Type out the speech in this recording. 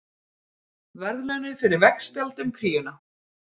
Verðlaunuð fyrir veggspjald um kríuna